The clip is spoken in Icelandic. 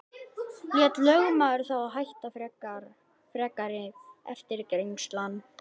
Lét lögmaður þá hætta frekari eftirgrennslan.